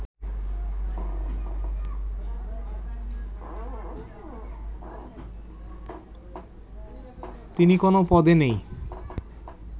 তিনি কোনো পদে নেই